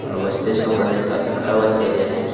और वो स्टेज के ऊपर में एक ठो आदमी खड़ा हुआ दिखाई दे रहा है।